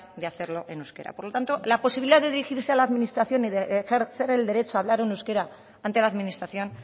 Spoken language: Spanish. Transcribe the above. de hacerlo en euskera por lo tanto la posibilidad de dirigirse a la administración y de ejercer el derecho en hablar en euskera ante la administración